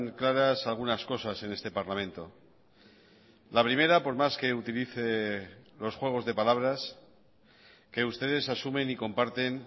claras algunas cosas en este parlamento la primera por más que utilice los juegos de palabras que ustedes asumen y comparten